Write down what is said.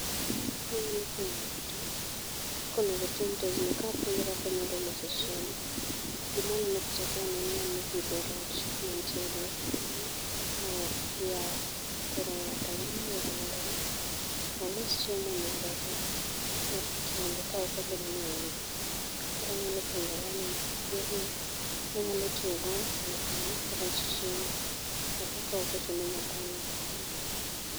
Anyalo puonjo ng'ato kaka onego otim tijni kapuonje kaka onyalo loso chiemo. Gima waneno e pich akae en ng'ama opidho rech mantiere e yao. Koro ng'ato nyalo yiero mondo mi olos chiemo ne reche kende ka ok ochuno ni ong'iew. Koro anyalo puonjo ngani yorno monyalo tiyo go e lso ne rech chiemo. Ka ok ochuno ni nyaka onyiew